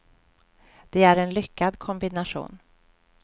Det är en lyckad kombination.